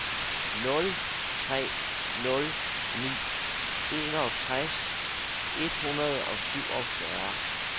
nul tre nul ni enogtres et hundrede og syvogfyrre